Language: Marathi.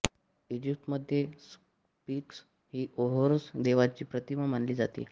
इजिप्तमध्ये स्फिंक्स ही होरस देवाची प्रतिमा मानली जाते